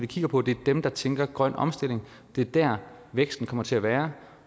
kigger på det er dem der tænker grøn omstilling det er der væksten kommer til at være